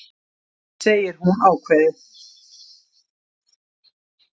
segir hún ákveðið.